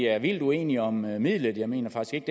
er vildt uenige om midlet jeg mener faktisk